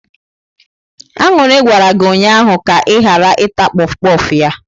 Aṅụrị gwara gị ụnyahụ ka ị ghara ịta kpof kpof ya!